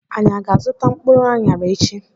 Anyị aga azụta mkpụrụ anyara echi?